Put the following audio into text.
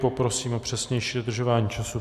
Poprosím o přesnější dodržování času.